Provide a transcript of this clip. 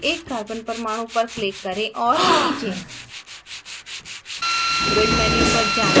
संरचना के किसी भी एक carbon परमाणु पर click करें और खींचें